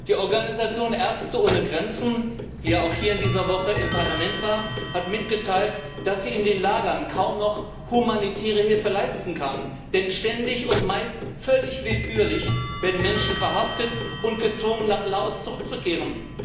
Die Organisation Ärzte ohne Grenzen, die ja in dieser Woche hier im Parlament war, hat mitgeteilt, dass sie in den Lagern kaum noch humanitäre Hilfe leisten könne, denn ständig und meist völlig willkürlich werden Menschen verhaftet und gezwungen, nach Laos zurückzukehren.